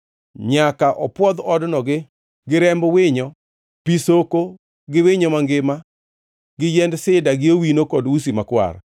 Nyaka opwodh odno gi remb winyo, pi soko gi winyo mangima, gi yiend sida gi owino kod usi makwar.